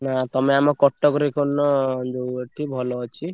ନା ତମେ ଆମ କଟକ ରେ କରୁନ ଯୋଉ ଏଠି ଭଲ ଅଛି।